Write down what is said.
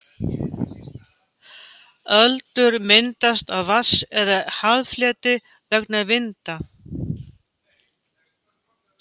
Öldur myndast á vatns- eða haffleti vegna vinda.